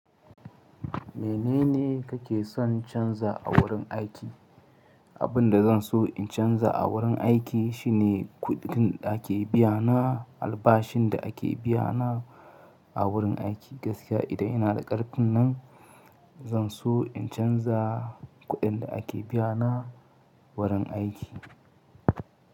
Menene kake son canza a wurin aiki? Abin da zan so in canza a wurin aiki shine kuɗin da ake biyana, albashin da ake biyana a wurin aiki. Gaskiya idan ina da ƙarfin nan, zan so in canza kuɗin da ake biyana wurin aiki.